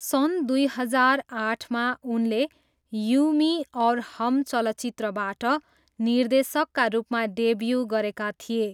सन् दुई हजार आठमा उनले यू मी और हम चलचित्रबाट निर्देशकका रूपमा डेब्यू गरेका थिए।